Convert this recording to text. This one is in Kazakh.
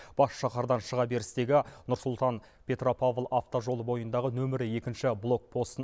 бас шаһардан шыға берістегі нұр сұлтан петропавл автожолы бойындағы нөмір екінші блокпостын